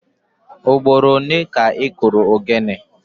Ugboro ole ka ị kụrụ ogene?